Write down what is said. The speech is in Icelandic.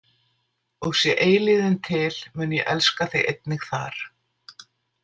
Og sé eilífðin til, mun ég elska þig einnig þar.